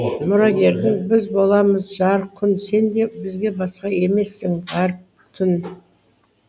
мұрагерің біз боламыз жарық күн сен де бізге басқа емессің ғаріп түн